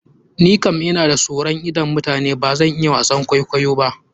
Ni kan ina da soron idon mutane, bazan iya wasan kwaikwayo ba.